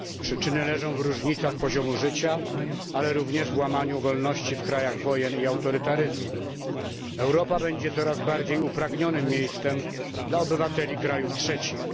Przyczyny leżą w różnicach poziomu życia, ale również w łamaniu wolności w krajach wojen i autorytaryzmu. Europa będzie coraz bardziej upragnionym miejscem dla obywateli krajów trzecich.